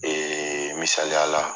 misaliyala